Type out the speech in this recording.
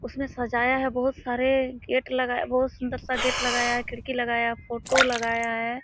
उसमें सजाया है बहुत सारे गेट लगाया बहुत सुन्दर सा गेट लगाया है खिडक़ी लगाया है फोटो लगाया है।